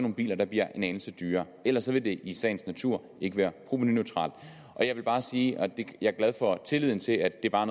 nogle biler der bliver en anelse dyrere ellers vil det i sagens natur ikke være provenuneutralt jeg vil bare sige at jeg er glad for er tillid til at det bare